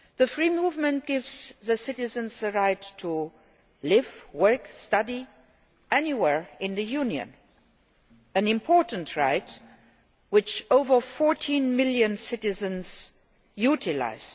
Free movement gives the citizens the right to live, work and study anywhere in the Union an important right which over 14 million citizens utilise.